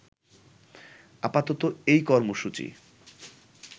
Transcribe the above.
আপাতত এই কর্মসূচি